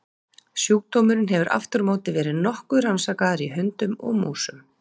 Sjúkdómurinn hefur aftur á móti verið nokkuð rannsakaður í hundum og músum.